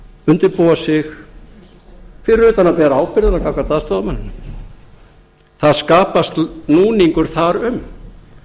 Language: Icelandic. undirbúa okkur fyrir utan að bera ábyrgðina gagnvart aðstoðarmanninum það skapast núningur þar um